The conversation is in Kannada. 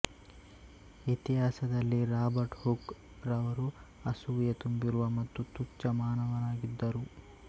ಇತಿಹಾಸದಲ್ಲಿ ರಾಬರ್ಟ್ ಹುಕ್ ರಾವರು ಅಸೂಯೆ ತುಂಬಿರುವ ಮತ್ತು ತುಚ್ಛ ಮಾನವನಾಗಿದ್ದರು